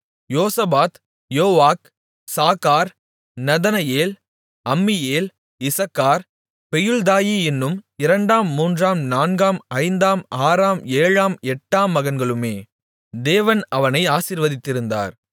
யோசபாத் Joah Sacar Nethaneel Ammiel Issachar Peulthai என்னும் இரண்டாம் மூன்றாம் நான்காம் ஐந்தாம் ஆறாம் ஏழாம் எட்டாம் மகன்களுமே தேவன் அவனை ஆசீர்வதித்திருந்தார்